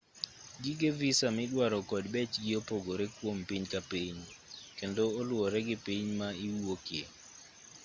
gige visa midwaro kod bechgi opogore kuom piny ka piny kendo oluwore gi piny ma iwuokie